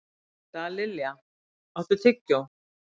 Dallilja, áttu tyggjó?